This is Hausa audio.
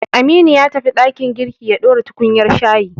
Aminu ya tafi ɗakin girki ya ɗora tukunyar shayi.